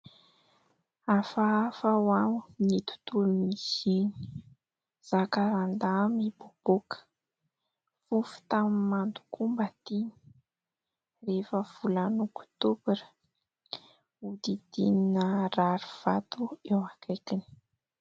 Hafahafaha ho'aho ny tontolon'izy iny : zakarandahy mipoapoaka. Fofontany mando koa mba tiany rehefa volana ôktôbra, hodidinina rarivato eo akaikiny.